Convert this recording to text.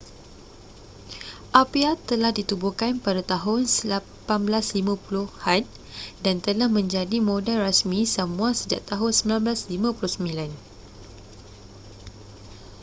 apia telah ditubuhkan pada tahun 1850-an dan telah menjadi modal rasmi samoa sejak tahun 1959